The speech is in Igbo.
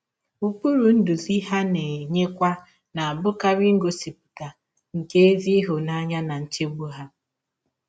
Ụkpụrụ ndụzi ha na - enyekwa na - abụkarị ngọsipụta nke ezi ịhụnanya na nchegbụ ha.